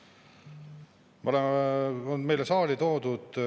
Lugupeetud Riigikogu esimees, kolleegid saalis ning kolleegid ekraanide taga oma tubades!